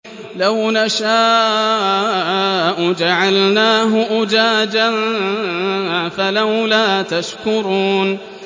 لَوْ نَشَاءُ جَعَلْنَاهُ أُجَاجًا فَلَوْلَا تَشْكُرُونَ